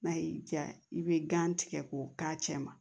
N'a y'i diya i bɛ gan tigɛ k'o k'a cɛ ma